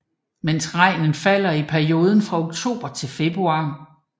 Mest regn falder i perioden fra oktober til februar